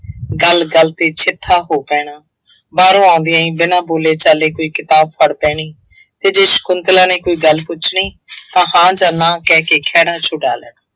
ਗੱਲ ਗੱਲ ਤੇ ਚਿੱਠਾ ਹੋ ਪੈਣਾ, ਬਾਹਰੋਂ ਆਉਂਦਿਆਂ ਹੀ ਬਿਨਾ ਬੋਲੇ ਚਾਲੇ ਕੋਈ ਕਿਤਾਬ ਫੜ੍ਹ ਬਹਿਣੀ ਅਤੇ ਜੇ ਸ਼ੰਕੁਤਲਾ ਨੇ ਕੋਈ ਗੱਲ ਪੁੱਛਣੀ ਤਾਂ ਹਾਂ ਜਾਂ ਨਾਂਹ ਕਹਿ ਕੇ ਖਹਿੜਾ ਛੁਡਾ ਲੈਣਾ।